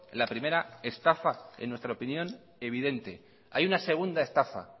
la primera estafa en nuestra opinión evidente hay una segunda estafa